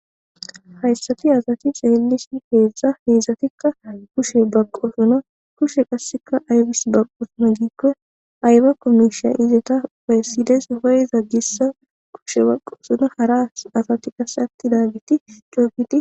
Hayssathi asathi xeellishin beetha; he azathikka kusho baqqoosona; kushe qassikka aybissi baqqoosona giikko aybakko miishshatha iyotha bessi des; hayetha gishshawu kushe baqqoosona; hara asathi qassi aththidaageethi coo gidi.